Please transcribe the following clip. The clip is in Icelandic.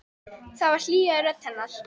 Það var hlýja í rödd hennar.